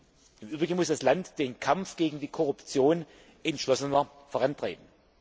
Außerdem muss das Land den Kampf gegen die Korruption entschlossener vorantreiben.